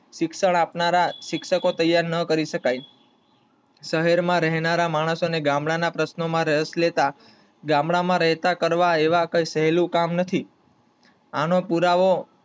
શિક્ષણ આપનારા શિક્ષકો તૈયર ના કરી શકીયે. શહેર માં રેહનાર માણસો ને ગામડા પ્રશ્નો માં રસ લેતા, ગામડા માં રહેતા કરતા એવું કઈ સહેલું કામ નથી. આનો પુરાવો